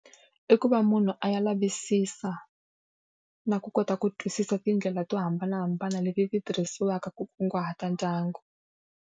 I ku va munhu a ya lavisisa na ku kota ku twisisa tindlela to hambanahambana leti ti tirhisiwaka ku kunguhata ndyangu.